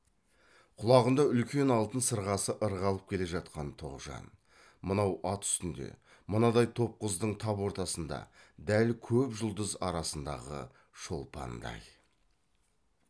құлағында үлкен алтын сырғасы ырғалып келе жатқан тоғжан мынау ат үстінде мынадай топ қыздың тап ортасында дәл көп жұлдыз арасындағы шолпандай